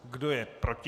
Kdo je proti?